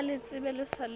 a letsebe le sa le